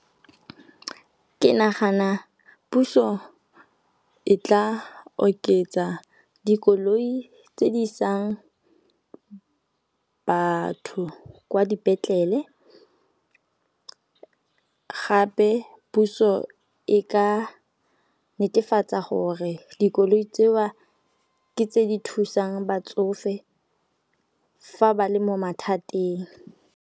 Ke nagana puso e tla oketsa dikoloi tse di isang batho kwa dipetlele, gape puso e ka netefatsa gore dikoloi tseo ke tse di thusang batsofe fa ba le mo mathateng.